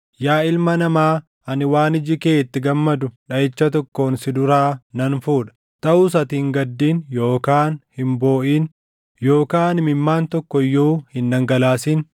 “Yaa ilma namaa, ani waan iji kee itti gammadu dhaʼicha tokkoon si duraa nan fuudha. Taʼus ati hin gaddin yookaan hin booʼin yookaan imimmaan tokko iyyuu hin dhangalaasin.